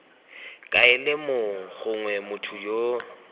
kaele mong gongwe motho yo